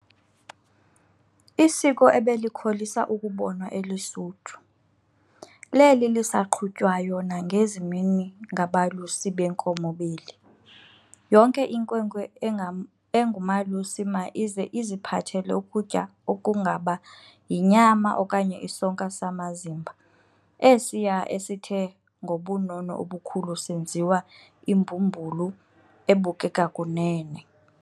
Isiko ebelikholisa ukubonwa eLusuthu, leli lisaqhutywayo nangezi mini ngabalusi beenkomo beli. Yonke inkwenkwe engumalusi ma ize iziphathele ukutya okungaba yinyama okanye isonka samazimba esiya esithe ngobunono obukhulu senziwa imbumbulu ebukeka kunene.